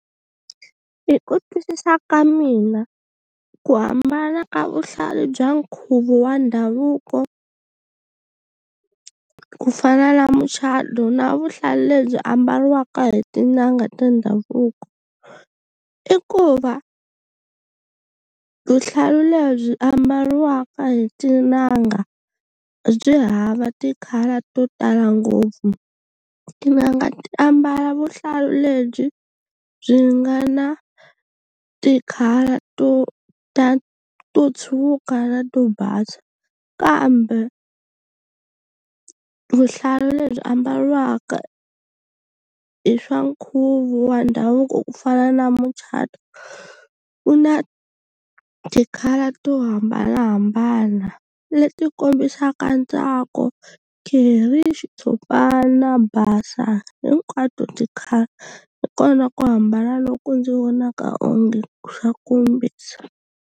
Hi ku twisisa ka mina ku hambana ka vuhlalu bya nkhuvo wa ndhavuko ku fana na muchado na vuhlalu lebyi ambaliwaka hi tin'anga ta ndhavuko i ku va vuhlalu lebyi ambaliwaka hi tin'anga byi hava ti-colour to tala ngopfu tin'anga ti ambala vuhlalu lebyi byi nga na ti-colour to ta to tshuka to basa kambe vuhlalu lebyi ambaliwaka hi swa nkhuvo wa ndhavuko ku fana na muchato wu na ti-colour to hambanahambana leti kombisaka ntsako xitshopana basa hinkwato ti-colour hi kona ku hambana loku ndzi vonaka onge xa kombisa.